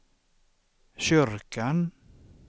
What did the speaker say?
kyrkan